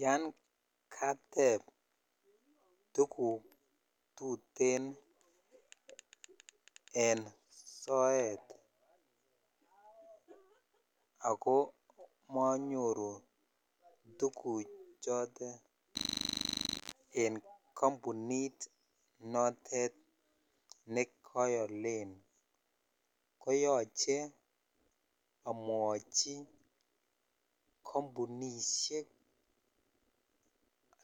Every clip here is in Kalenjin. Yan katep tuguk tutee en soet ako monyoru tuguk chotet en kampunit notet nekoolen koyoche amwochi kmpunishek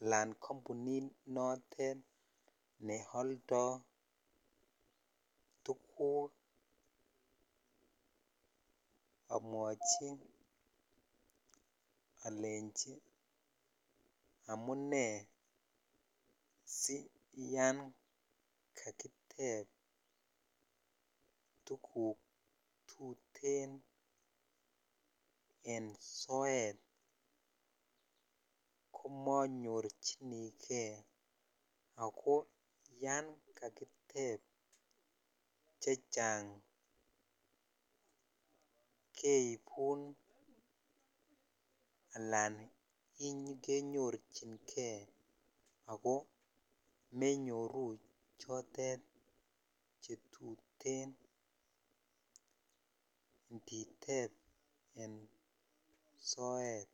alan kampunit notet neoldoi tuguk amwochi olechi amunai siyan kakitep tuguk tutee en soet komonyorchinin kei ako yankakitep chechang keipun ako kinyorchinkei ako menyoru chotet chetuten inditep en soet